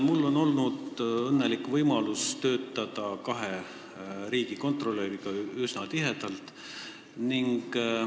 Mul on olnud õnnelik võimalus töötada üsna tihedalt koos kahe riigikontrolöriga.